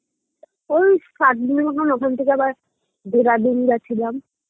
ওই সাত দিনের মতোন ওখান থেকে আবার দেরাদুন গেছিলাম